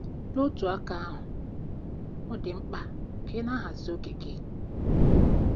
N'otu aka ahụ, ọ dị mkpa ka ị na-ahazi oge gị.